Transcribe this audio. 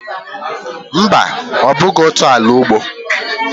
Mba, ọ bụghị otu ala ugbo.